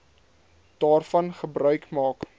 daarvan gebruik maak